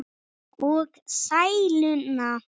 Og sæluna.